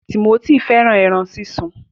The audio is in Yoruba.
Timothy fẹràn ẹran sísun.